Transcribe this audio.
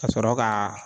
Ka sɔrɔ ka